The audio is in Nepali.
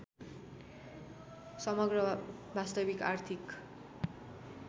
समग्र वास्तविक आर्थिक